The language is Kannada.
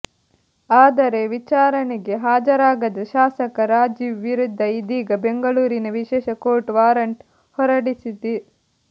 ಆದರೆ ವಿಚಾರಣೆಗೆ ಹಾಜರಾಗದ ಶಾಸಕ ರಾಜೀವ್ ವಿರುದ್ಧ ಇದೀಗ ಬೆಂಗಳೂರಿನ ವಿಶೇಷ ಕೋರ್ಟ್ ವಾರಂಟ್ ಹೊರಡಿಸಿದೆ